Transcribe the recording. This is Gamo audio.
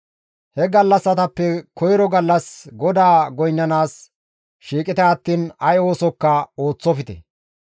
He gallassatappe koyro gallas GODAA goynnanaas shiiqite attiin ay oosokka ooththofte.